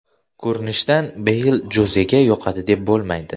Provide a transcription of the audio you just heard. Ko‘rinishidan, Beyl Jozega yoqadi deb bo‘lmaydi.